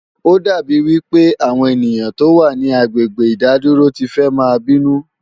Ó dà bí wí pé àwọn ènìyàn tó wà ní agbègbè ìdádúró ti fẹ́ máa bínú